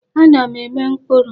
Ana m eme mkpuru.